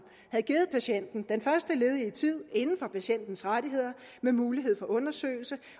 havde givet patienten den første ledige tid inden for patientens rettigheder med mulighed for undersøgelse